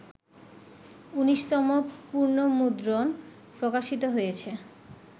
১৯তম পুনর্মুদ্রণ প্রকাশিত হয়েছে